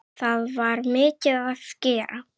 Það var mikið að gera.